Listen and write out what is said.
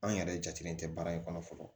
An yɛrɛ jateminɛ tɛ baara in kɔnɔ fɔlɔ